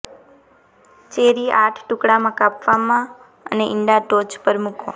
cherry આઠ ટુકડામાં કાપવામાં અને ઇંડા ટોચ પર મૂકો